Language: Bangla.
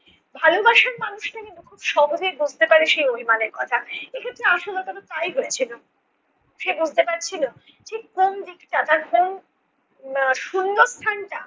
ভালোবাসার মানুষরা কিন্তু সহজে বুঝতে পারে সেই অভিমানের কথা। এক্ষেত্রে আশালতারও তাই হয়েছিলো। সে বুঝতে পারছিলো ঠিক কোন দিকটা তার কোন উম শূন্যস্থানটা